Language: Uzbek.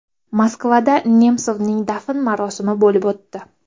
Moskvada Nemsovning dafn marosimi bo‘lib o‘tdi.